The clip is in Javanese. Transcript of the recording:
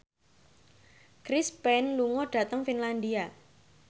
Chris Pane lunga dhateng Finlandia